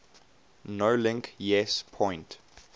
nolink yes point